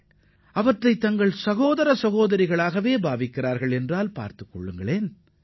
அவர்கள் புலிகளை தங்களது சகோதர சகோதரிகளாகவே கருதுகின்றனர்